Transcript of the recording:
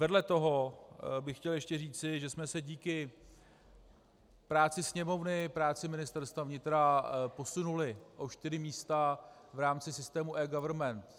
Vedle toho bych chtěl ještě říci, že jsme se díky práci Sněmovny, práci Ministerstva vnitra posunuli o čtyři místa v rámci systému eGovernment.